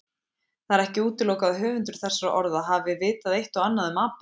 Það er ekki útilokað að höfundur þessara orða hafi vitað eitt og annað um apa.